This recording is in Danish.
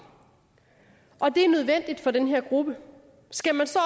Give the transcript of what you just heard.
og det er nødvendigt for den her gruppe skal man så